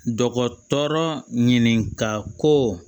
Dɔgɔtɔrɔ ɲininka ko